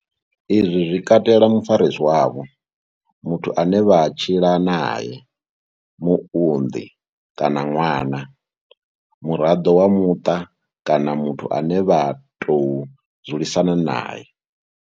Izwi zwi katela mufarisi wavho, muthu ane vha tshila nae, muunḓi kana ṅwana, muraḓo wa muṱa kana muthu ane vha tou dzulisana nae.